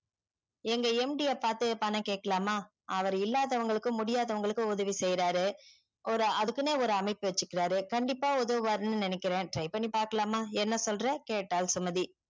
எங்க MD பத்து பணம் கேக்குலம்மா அவர் இல்லாதவங்களுக்கு முடியதவங்களுக்கும் உதவி சேயிறாரு ஒரு அதுக்குனே ஒரு அமைப்பு வச்சிருக்காரு கண்டிப்பா உதவுவாருன்னு நினைக்கிற try பண்ணி பாக்கலாம்மா என்ன சொல்ற கேட்டால் சுமதி